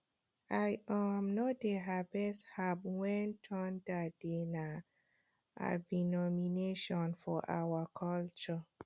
i um no dey harvest herbs when thunder dey na abomination for our culture